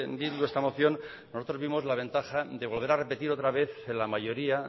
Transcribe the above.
bildu esta moción nosotros vimos la ventaja de volver a repetir otra vez en la mayoría